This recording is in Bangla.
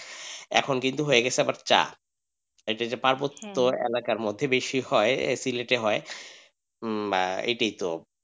এখন কিন্তু আবার হয়ে গেছে চা এটাতো যে পার্বত্য এলাকার মধ্যে বেশি হয় হয় হম এটি তো.